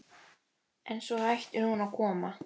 En svo hættir hún að koma.